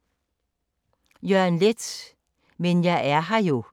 Jørgen Leth: Men jeg er her jo